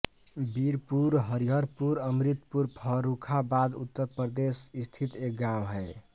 वीरपुर हरिहरपुर अमृतपुर फर्रुखाबाद उत्तर प्रदेश स्थित एक गाँव है